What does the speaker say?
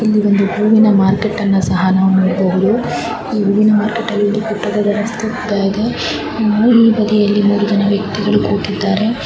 ಇಲ್ಲಿ ಒಂದು ಹೂವಿನ ಮಾರ್ಕೆಟ್ ಅನ್ನು ಸಹ ನಾವು ನೋಡಬಹುದು ಹೂವಿನ ಮಾರ್ಕೆಟ್ ನಲ್ಲಿ ಪುಟ್ಟದಾದ ವಸ್ತು ಕೂಡ ಇದೆ ಈ ಅಂಗಡಿ ಬದಿಯಲ್ಲಿ ಮೂರು ಜನ ವ್ಯಕ್ತಿಗಳು ಕೂಡ ಕುಂತಿದ್ದಾರೆ.